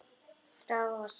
Dragast saman.